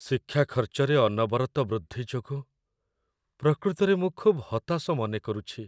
ଶିକ୍ଷା ଖର୍ଚ୍ଚରେ ଅନବରତ ବୃଦ୍ଧି ଯୋଗୁଁ ପ୍ରକୃତରେ ମୁଁ ଖୁବ୍ ହତାଶ ମନେକରୁଛି।